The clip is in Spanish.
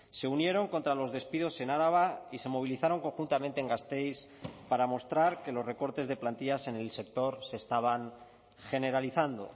se unieron contra los despidos en araba y se movilizaron conjuntamente en gasteiz para mostrar que los recortes de plantillas en el sector se estaban generalizando